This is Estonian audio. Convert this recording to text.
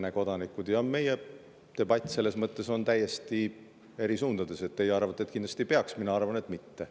Meie debatis on selles mõttes täiesti eri suundades: teie arvate, et kindlasti peaks, mina arvan, et mitte.